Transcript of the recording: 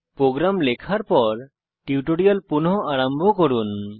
programme লেখার পর tutorial পুনঃ আরম্ভ করুন